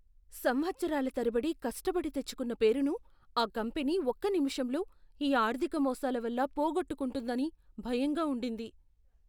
సంవత్సరాల తరబడి కష్టబడి తెచ్చుకున్న పేరును ఆ కంపెనీ ఒక్క నిమిషంలో ఈ ఆర్ధిక మోసాల వల్ల పోగొట్టుకుంటుందని భయంగా ఉండింది.